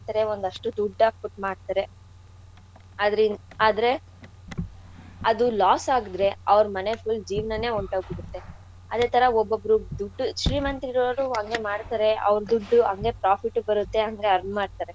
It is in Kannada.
ಒಂದಷ್ಟು ದುಡ್ದ್ ಹಾಕ್ಬಿಟ್ ಮಾಡ್ತಾರೆ ಆದ್ರೆ ಆದ್ರೆ ಅದು loss ಆದ್ರೆ ಅವ್ರು full ಮನೆ ಜೀವ್ನಾನೇ ಒನ್ಟೋಗ್ಬಿಡುತ್ತೇ. ಅದೇ ತರ ಒಬ್ಬೊಬ್ರು ದುಡ್ಡು ಶ್ರೀಮಂತ್ರು ಇರೋರು ಅಂಗೆ ಮಾಡ್ತಾರೆ ಅವ್ರ್ ದುಡ್ಡು ಅಂಗೆ profit ಉ ಬರುತ್ತೆ ಅಂಗೆ earn ಮಾಡ್ತಾರೆ.